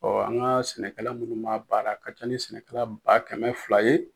Ɔ an ga sɛnɛkɛla munnu ma baara a ka ca ni sɛnɛkɛla ba kɛmɛ fila ye